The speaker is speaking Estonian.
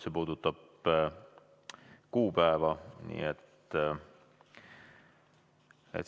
See puudutab kuupäeva.